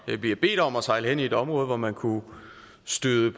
bliver bedt om at sejle hen i et område hvor man kunne støde